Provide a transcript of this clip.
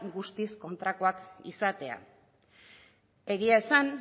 guztiz kontrakoak izatea egia esan